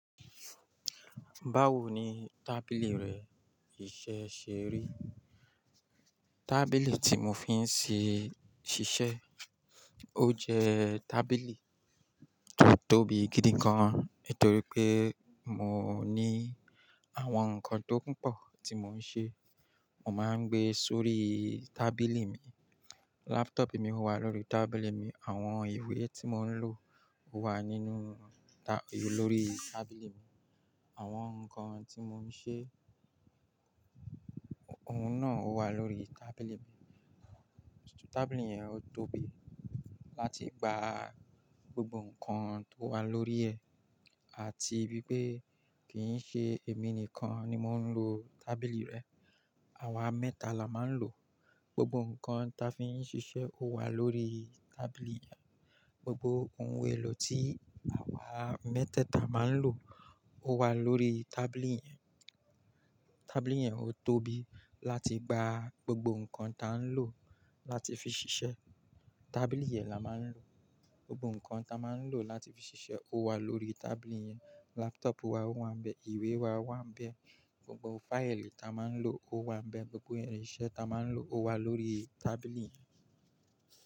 Báwo ni tábìlì rẹ ìṣe ṣe rí? Tábìlì tí mo fi ń ṣiṣẹ́, ó jẹ́ tábìlì tó tóbi gidi gan, nitorí pé mo ní àwọn nǹkan tó pọ̀ tí mo ń ṣe, mo máa ń gbé sórí tábìlì mi. Laptop mi wà lórí tábìlì mi, àwọn ìwé tí mo ń lò wà nínú lórí tábìlì mi. Àwọn nǹkan tí mo ń ṣe, òun náà wà lórí tábìlì mi. Tábìlì yẹn ó tóbi láti gba gbogbo nǹkan tó wà lórí ẹ àti bí pé kì í ṣe èmi nìkan ni mò ń lò tábìlì rẹ. Àwa mẹ́ta la máa ń lò ó. Gbogbo nǹkan ta fi ń ṣiṣẹ́ ó wà lórí tábìlì yẹn, gbogbo ohun èlò tí àwa mẹ́tẹ̀ẹ̀ta máa ń lò ó wà lórí tábìlì yẹn. Tábìlì yẹn ó tóbi láti gba gbogbo nǹkan ta ń lò láti fi ṣiṣẹ́. Tábìlì yẹn la máa ń lò. Gbogbo nǹkan ta máa ń lò láti fi ṣiṣẹ́ ó wà lórí tábìlì yẹn. Laptop wa wà ń bẹ, ìwé wa wà ń bẹ, gbogbo fáìlì ta máa ń lò ó wà ń bẹ, gbogbo irinṣẹ́ ta máa ń lò ó wà lórí tábìlì yẹn.